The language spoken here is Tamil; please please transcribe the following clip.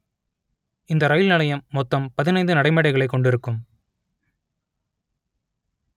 இந்த ரயில் நிலையம் மொத்தம் பதினைந்து நடைமேடைகளைக் கொண்டிருக்கும்